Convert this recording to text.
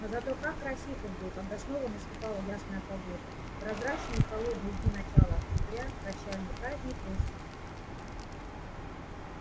но зато как красив он был когда снова наступала ясная погода прозрачные и холодные дни начала октября прощальный праздник осени